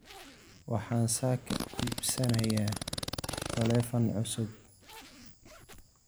Waxaan saaka iibsanayaa taleefan cusub